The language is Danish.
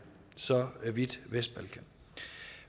så vidt vestbalkan